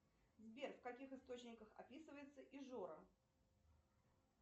сбер в каких источниках описывается ижора